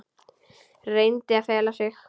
Reyndi að fela það.